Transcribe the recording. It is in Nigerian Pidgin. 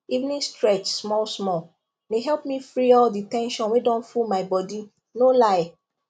evening stretch small small dey help me free all the ten sion wey don full my body no lie